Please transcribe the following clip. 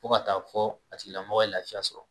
Fo ka taa fɔ a tigilamɔgɔ ye lafiya sɔrɔ